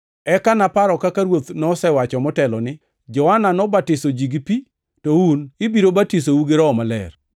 Eka naparo kaka Ruoth nosewacho motelo ni, ‘Johana nobatiso ji gi pi, to un ibiro batisou gi Roho Maler.’